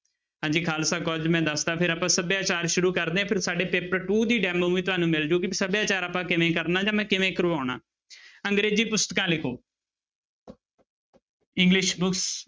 ਹਾਂਜੀ ਖਾਲਸਾ college ਮੈਂ ਦੱਸ ਦਿੱਤਾ ਫਿਰ ਆਪਾਂ ਸਭਿਆਚਾਰ ਸ਼ੁਰੂ ਕਰਦੇ ਹਾਂ ਫਿਰ ਸਾਡੇ paper two ਦੀ demo ਵੀ ਤੁਹਾਨੂੰ ਮਿਲ ਜਾਊਗੀ ਵੀ ਸਭਿਆਚਾਰ ਆਪਾਂ ਕਿਵੇਂ ਕਰਨਾ ਜਾਂ ਮੈਂ ਕਿਵੇਂ ਕਰਵਾਉਣਾ ਅੰਗਰੇਜ਼ੀ ਪੁਸਤਕਾਂ ਲਿਖੋ english books